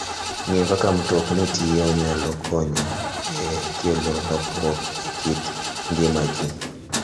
Ng'eyo kaka mtokni tiyo nyalo konyo e kelo lokruok e kit ngima ji.